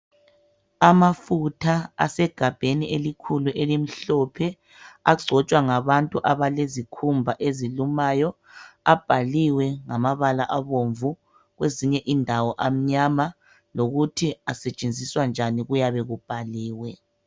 Amafutha asegabheni elikhulu elimhlophe agcotshwa ngabantu abalezikhumba ezilumayo abhaliwe ngamabala abomvu kwezinye indawo amnyama lokuthi asetshenziswa njani kuyabe kubhaliwe.